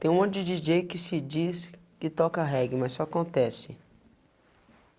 Tem um monte de di jê is que se diz que toca reggae, mas só acontece.